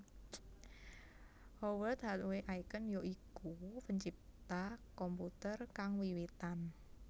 Howard Hathaway Aiken ya iku pencipta komputer kang wiwitan